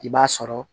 I b'a sɔrɔ